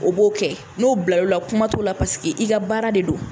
O b'o kɛ n'o bilal'o la kuma t'o la i ka baara de don